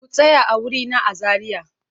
Ku tsaya a wurina a Zariya!